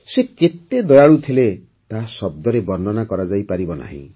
ସେ କେତେ ଦୟାଳୁ ଥିଲେ ତାହା ଶବ୍ଦରେ ବର୍ଣ୍ଣନା କରାଯାଇପାରିବନି